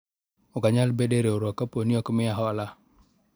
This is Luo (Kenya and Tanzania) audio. ok anyal bedo e riwruok kapo ni ok miya hola